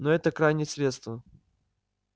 но это крайнее средство